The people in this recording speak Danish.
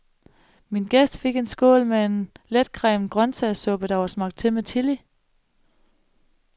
Min gæst fik en skål med en letcremet grøntsagssuppe, der var smagt til med chili.